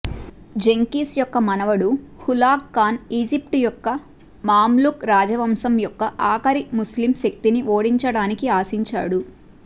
Genghis యొక్క మనవడు Hulagu Khan Egypt యొక్క మామ్లుక్ రాజవంశం యొక్క ఆఖరి ముస్లిం శక్తిని ఓడించడానికి ఆశించాడు